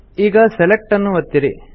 ಈಗ Selectನ್ನು ಒತ್ತಿರಿ